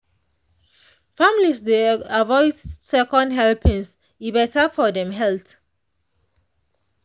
families dey avoid second helpings e better for dem health.